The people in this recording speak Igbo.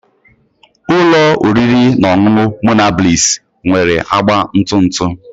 Ụlọ oriri na ọṅụṅụ Monabliss nwere agba ntụ ntụ